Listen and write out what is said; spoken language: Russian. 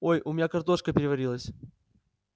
ой у меня картошка переварилась